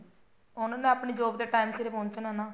ਉਹਨਾ ਨੇ ਆਪਣੀ job ਤੇ time ਸਿਰ ਪਹੁੰਚਣਾ ਨਾ